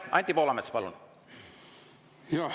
Anti Poolamets, palun!